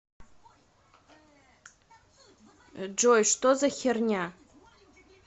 джой что за херня